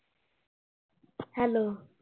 hello